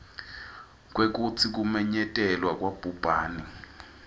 kwekutsi kumenyetelwa kwabhubhane